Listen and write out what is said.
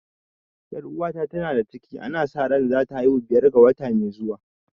Ƴar uwata ta na da ciki ana sa ran za ta haihu biyar ga wata mai zuwa